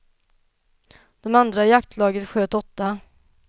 De andra i jaktlaget sköt åtta.